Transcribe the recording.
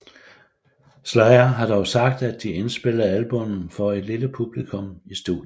Slayer har dog sagt at de indspillede albummet for et lille publikum i studiet